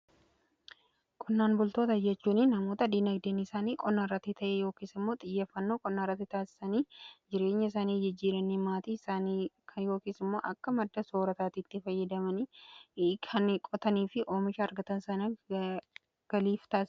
Qonnaan bultoota jechuun namoota diinagdeen isaanii qonnaarratti ta'ee yookiin immoo xiyyeffannoo qonnaa irratti taasisanii jireenya isaanii jijjiiranii maatii yookiin immoo akka madda soorataa itti fayyadamanii kan qotanii fi oomisha argatan .